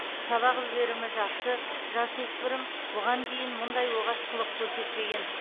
сабақ үлгерімі жақсы жасөспірім бұған дейін мұндай оғаш қылық көрсетпеген